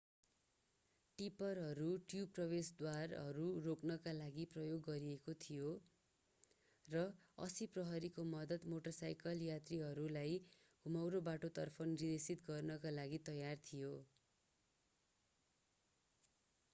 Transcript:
टिप्परहरू tube प्रवेशद्वारहरू रोक्नका लागि प्रयोग गरिएका थिए र 80 प्रहरीको मद्दत मोटरसाइकल यात्रीहरूलाई घुमाउरो बाटो तर्फ निर्देशित गर्नका लागि तयार थियो